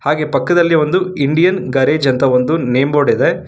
ಹಾಗೆ ಪಕ್ಕದಲ್ಲಿ ಒಂದು ಇಂಡಿಯನ್ ಗೆರೆಜ್ ಅಂತ ನೇಮ್ಬೋರ್ಡ್ ಇದೆ.